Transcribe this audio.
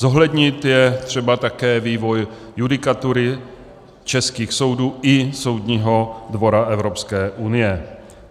Zohlednit je třeba také vývoj judikatury českých soudů i Soudního dvora Evropské unie.